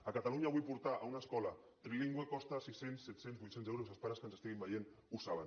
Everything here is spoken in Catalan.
a catalunya avui portar a una escola trilingüe costa sis cents set cents vuit cents euros els pares que ens estiguin veient ho saben